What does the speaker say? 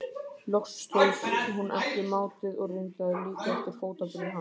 Loks stóðst hún ekki mátið og reyndi að líkja eftir fótaburði hans.